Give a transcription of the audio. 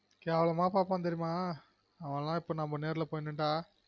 கேவ்லாம பாப்பான் தெரியுமா அவன்லான் இப்ப நம்ம நேர்ல போய் நின்னா